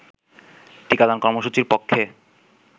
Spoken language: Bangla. টিকাদান কর্মসূচির পক্ষে